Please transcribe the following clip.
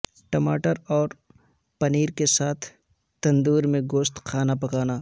ٹماٹر اور پنیر کے ساتھ تندور میں گوشت کھانا پکانا